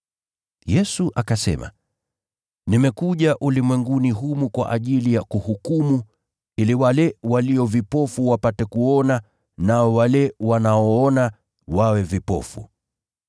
Yesu akasema, “Nimekuja ulimwenguni humu kwa ajili ya kuhukumu, ili wale walio vipofu wapate kuona, nao wale wanaoona, wawe vipofu.”